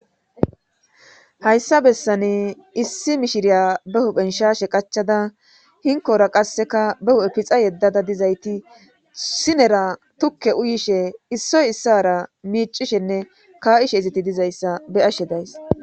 hayssa bessane issi mishiriya be huphen shashe qachada hinkora qasseka be hu7e pixa yeddada dizayti sinera tukke uyishe issoy issara miicishenne ka7ishe iziti dizayssa be'ashe days